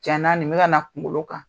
Can na nin bi ka na kunkolo kan.